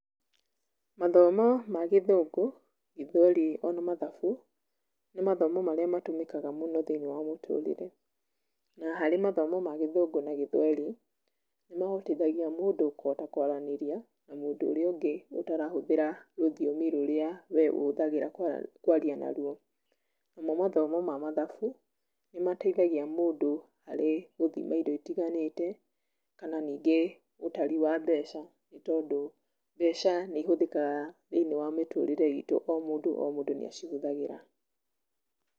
Mathomo ma gĩthũngũ ,gĩthweri ona mathabu nĩ mathomo marĩa matũmĩkaga mũno thĩinĩ wa mũtũrĩre, na harĩ mathomo ma gĩthũngũ na gĩthweri nĩ mahotithagia mũndũ kũhota kwaranĩrĩa na mũndũ ũrĩa ũngĩ ũtarahũthĩra rũthiomi rũrĩa we ũhũthagĩra kwaria narũo ,namo mathomo ma mathabu nĩ mateĩthagĩa mũndũ harĩ gũthima indo itiganĩte kana ningĩ ũtari wa mbeca nĩ tondu mbeca nĩ ihũthĩkaga thĩinĩ wa mĩtũrĩre itũ o mũndũ o mũndũ nĩ acihũthagĩra.